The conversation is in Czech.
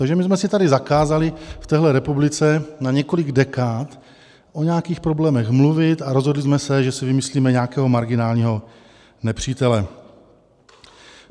Takže my jsme si tady zakázali v téhle republice na několik dekád o nějakých problémech mluvit a rozhodli jsme se, že si vymyslíme nějakého marginálního nepřítele.